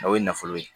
O ye nafolo ye